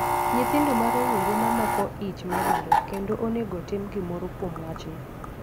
Nyithindo ma rowere mamako ich medore, kendo onego otim gimoro kuom wachno.